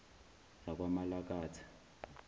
zakwamalakatha